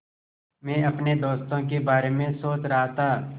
मैं अपने दोस्तों के बारे में सोच रहा था